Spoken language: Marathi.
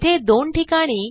येथे दोन ठिकाणी